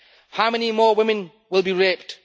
How many more women will be raped?